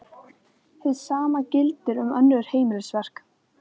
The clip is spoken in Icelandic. Hið sama gildir um önnur heimilisverk.